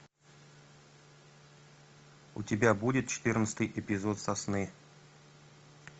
у тебя будет четырнадцатый эпизод сосны